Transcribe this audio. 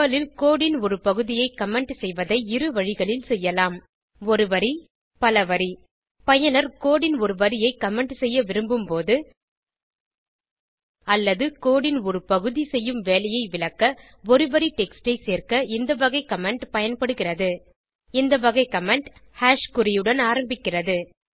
Perl ல் code ன் ஒரு பகுதியை கமெண்ட் செய்வதை இரு வழிகளில் செய்யலாம் ஒரு வரி பல வரி பயனர் கோடு ன் ஒரு வரியை கமெண்ட் செய்ய விரும்பும்போது அல்லது கோடு ன் ஒரு பகுதி செய்யும் வேலையை விளக்க ஒரு வரி டெக்ஸ்ட் ஐ சேர்க்க இந்த வகை கமெண்ட் பயன்படுகிறது இந்த வகை கமெண்ட் குறியுடன் ஆரம்பிக்கிறது